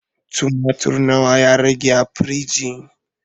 Tumatir na wa ya rage a firiji?